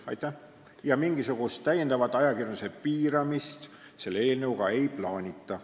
Ja kinnitan teile, et mingisugust täiendavat ajakirjanduse piiramist selle eelnõuga ei plaanita.